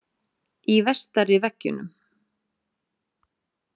Í vestari Veggjunum.